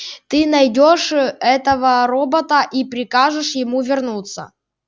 ты найдёшь этого робота и прикажешь ему вернуться